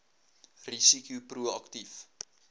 risiko pro aktief